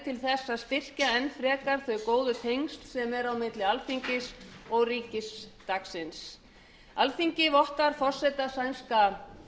til þess að styrkja enn frekar þau góðu tengsl sem eru milli alþingis og ríkisdagsins alþingi vottar forseta sænska